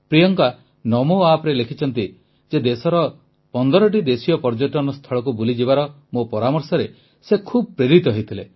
ପ୍ରିୟଙ୍କା ନମୋ ଆପ୍ରେ ଲେଖିଛନ୍ତି ଯେ ଦେଶର 15ଟି ଦେଶୀୟ ପର୍ଯ୍ୟଟନ ସ୍ଥଳକୁ ବୁଲିଯିବାର ମୋ ପରାମର୍ଶରେ ସେ ଖୁବ ପ୍ରେରିତ ହୋଇଥିଲେ